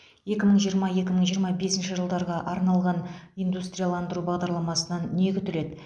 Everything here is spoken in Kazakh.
екі мың жиырма екі мың жиырма бесінші жылдарға арналған индустрияландыру бағдарламасынан не күтіледі